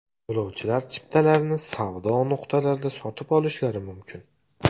Yo‘lovchilar chiptalarni savdo nuqtalarida sotib olishlari mumkin.